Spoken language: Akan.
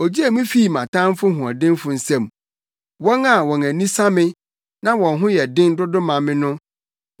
Ogyee me fii me tamfo hoɔdenfo nsam, wɔn a wɔn ani sa me, na wɔn ho yɛ den dodo ma me no.